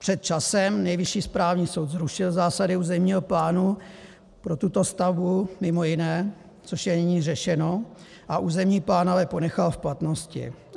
Před časem Nejvyšší správní soud zrušil zásady územního plánu pro tuto stavbu, mimo jiné, což je nyní řešeno, a územní plán ale ponechal v platnosti.